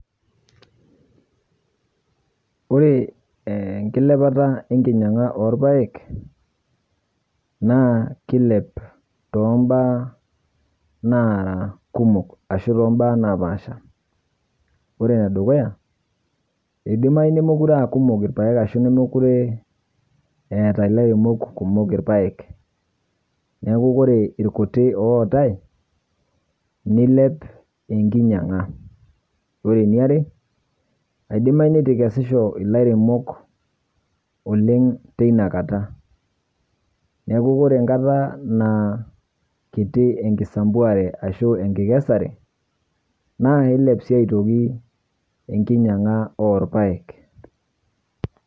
Ore eenkilepata enkinyang'a orpaek keilep toombaa naara kumok ashu tombaa naapasha. Ore enedukuya, eidimayu nemokure aakumok irpaek ashu nemekure eeta lairemok kumok irpaek neaku ore irkuti ootai neilep enkinyang'a. Ore niare, eidimayu neitu eikesisho ilairemok oleng' teinakata, neaku ore enkata naa kiti enkisampuare ashu enkikesare naakeilep sii aitoki enkinyang'a orpaek .